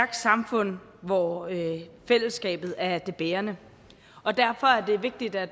samfund hvor fællesskabet er det bærende og derfor er det vigtigt at